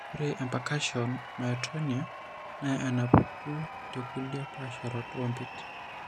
Ore empercussion myotonia naa enapuku tekulie paasharot oompit.